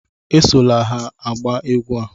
Esola ha agba egwú a!